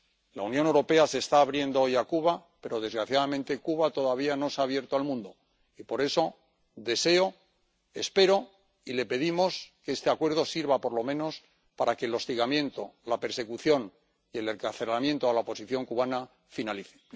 La Unión Europea se está abriendo hoy a Cuba, pero, desgraciadamente, Cuba todavía no se ha abierto al mundo y, por eso, deseo, espero, y le pedimos que este Acuerdo sirva, por lo menos, para que el hostigamiento, la persecución y el encarcelamiento a la oposición cubana, finalicen.